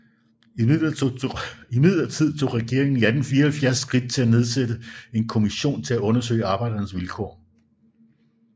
Imidlertid tog regeringen i 1874 skridt til at nedsætte en kommission til at undersøge arbejdernes vilkår